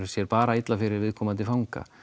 sér bara illa fyrir viðkomandi fanga